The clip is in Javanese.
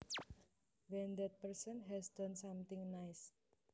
when that person has done something nice